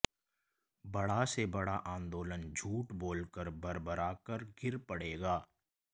बड़ा से बड़ा आंदोलन झूठ बोलकर भरभराकर गिर पड़ेगा